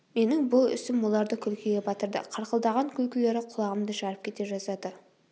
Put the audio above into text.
менің бұл ісім оларды күлкіге батырды қарқылдаған күлкілері құлағымды жарып кете жаздады